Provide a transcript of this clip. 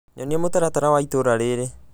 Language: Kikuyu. nyonia mũtaratara wa itũra rĩrĩ